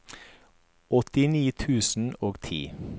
åttini tusen og ti